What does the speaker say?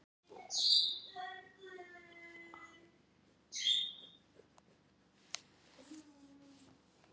Við verðum að vernda hana.